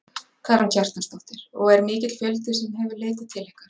Karen Kjartansdóttir: Og er mikill fjöldi sem hefur leitað til ykkar?